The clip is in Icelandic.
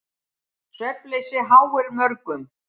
Svefnleysi háir mörgum.